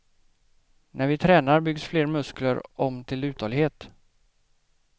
När vi tränar byggs fler muskler om till uthållighet.